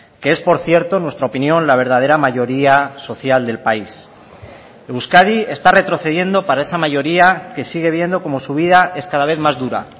que es por cierto en nuestra opinión la verdadera mayoría social del país euskadi está retrocediendo para esa mayoría que sigue viendo como su vida es cada vez más dura